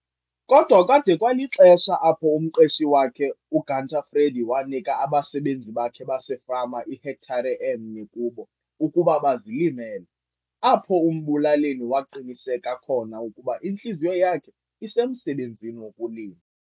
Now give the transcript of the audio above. Kodwa kwade kwalixesha apho umqeshi wakhe, uGunter Freddie wanika abasebenzi bakhe basefama ihektare emnye kubo ukuba bazilimele, apho uMbulaleni waqiniseka khona ukuba intliziyo yakhe isemsebenzini wokulima.